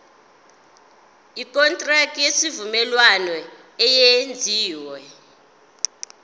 ikontraki yesivumelwano eyenziwe